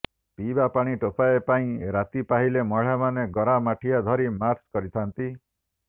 ପିଇବା ପାଣି ଟୋପାଏ ପାଇଁ ରାତି ପାହିଲେ ମହିଳାମାନେ ଗରା ମାଠିଆ ଧରି ମାର୍ଚ କରିଥାନ୍ତି